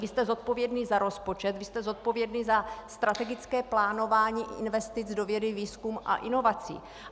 Vy jste zodpovědný za rozpočet, vy jste zodpovědný za strategické plánování investic do vědy, výzkumu a inovací.